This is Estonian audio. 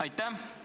Aitäh!